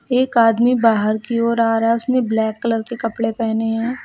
एक आदमी बाहर की ओर आ रहा है उसने ब्लैक कलर के कपड़े पहने हैं।